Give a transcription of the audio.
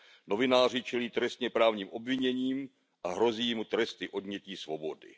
Novináři čelí trestněprávním obviněním a hrozí jim tresty odnětí svobody.